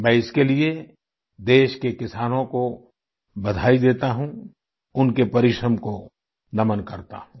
मैं इसके लिए देश के किसानों को बधाई देता हूँ उनके परिश्रम को नमन करता हूँ